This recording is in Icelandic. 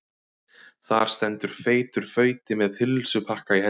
Þar stendur feitur fauti með pulsupakka í hendinni.